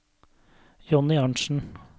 Jonny Arntsen